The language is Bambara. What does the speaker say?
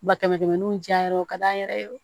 Ba kɛmɛ kɛmɛ ni diyan yɔrɔ ka d'an yɛrɛ ye